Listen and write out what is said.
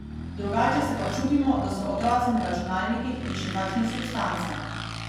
Drugače se pa čudimo, da so otroci na računalnikih in še kakšnih substancah.